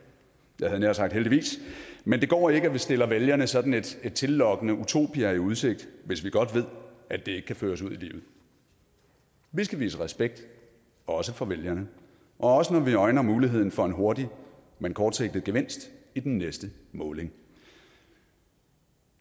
jeg havde nær sagt heldigvis men det går ikke at vi stiller vælgerne sådan et tillokkende utopia i udsigt hvis vi godt ved at det ikke kan føres ud i livet vi skal vise respekt også for vælgerne og også når vi øjner muligheden for en hurtig men kortsigtet gevinst i den næste måling